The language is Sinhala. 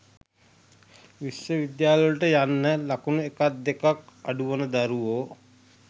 විශ්ව විද්‍යාලයට යන්න ලකුණු එකක් දෙකක් අඩුවන දරුවෝ